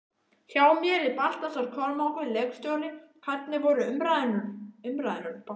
Hjá mér er Baltasar Kormákur, leikstjóri, hvernig voru umræðurnar, Baltasar?